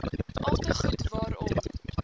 alte goed waarom